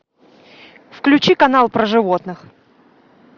включи канал про животных